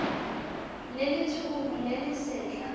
le letshoroma le le setlha